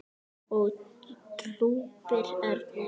og drúpir örn yfir.